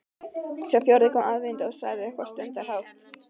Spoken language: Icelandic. Sá fjórði kom aðvífandi og sagði eitthvað stundarhátt.